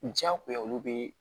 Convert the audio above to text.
Jagoya olu bɛ